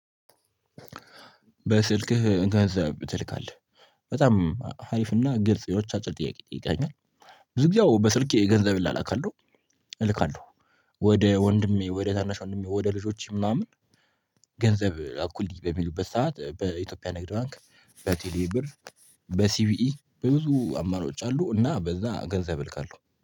በስልክህ ገንዘብ ትልካለህ በጣም አሪፍና ግልጽ የሆነች አጭር ጥያቄ ጠይቀኸኛል። ብዙ ጊዜ ያው በስልኬ ገንዘብ እላላካለሁ። እልካለሁ ወደ ወንድሜ ወደ ታናሽ ወንድሜ ወደ ልጆችም ምናምን። ገንዘብ ላኩልኝ በሚሉበት ሰዓት በኢትዮጵያ ንግድ ባንክ በቴሌ ብር በሲቪኢ በብዙ አማራጭ አሉ። እና በዛ ገንዘብ እልካለሁ